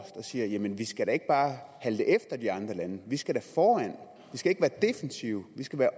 siger jamen vi skal da ikke bare halte efter de andre lande vi skal da foran vi skal ikke være defensive vi skal være